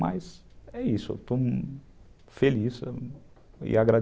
Mas é isso, eu estou feliz e agradecido.